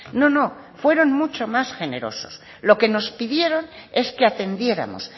no no fueron mucho más generosos lo que nos pidieron es que atendiéramos